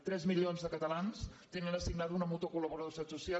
tres milions de catalans tenen assignada una mútua col·laboradora de la seguretat social